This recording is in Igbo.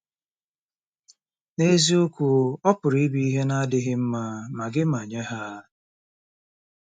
N'eziokwu, ọ pụrụ ịbụ ihe na-adịghị mma, ma gị ma nye ha.